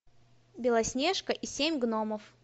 белоснежка и семь гномов